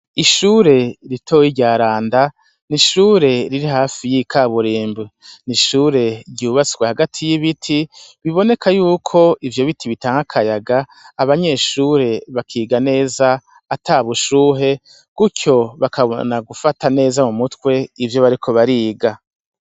Ishure ritoye rya randa ni ishure riri hafi y'ikaburimbo ni ishure ryubatswe hagati y'ibiti biboneka yuko ivyo biti bitanga akayaga abanyeshure bakiga neza ata bushuhe gutyo bakabona gufata neza mu mutwe ivyo bariko bariga.